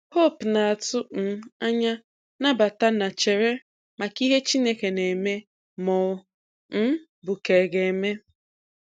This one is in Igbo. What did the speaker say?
Hope na-atụ um anya, nabata & chere maka ihe Chineke na-eme ma ọ um bụ ka ga-eme.